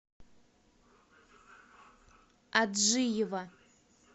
аджиева